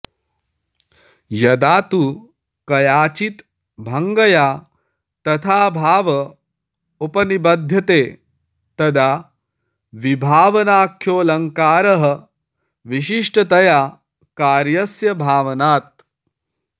यदा तु कयाचिद् भङ्गया तथाभाव उपनिबध्यते तदा विभावनाख्योऽलङ्कारः विशिष्टतया कार्यस्य भावनात्